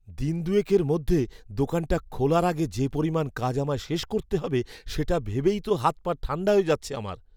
দিন দুয়েকের মধ্যে দোকানটা খোলার আগে যে পরিমাণ কাজ আমায় শেষ করতে হবে সেটা ভেবেই তো হাত পা ঠাণ্ডা হয়ে যাচ্ছে আমার।